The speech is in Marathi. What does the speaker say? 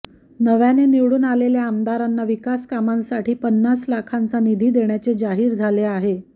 नव्याने निवडून आलेल्या आमदारांना विकास कामांसाठी पन्नास लाखांचा निधी देण्याचे जाहीर झाले आहे